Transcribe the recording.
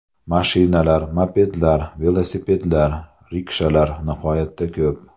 Mashinalar, mopedlar, velosipedlar, rikshalar nihoyatda ko‘p.